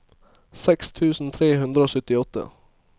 seks tusen tre hundre og syttiåtte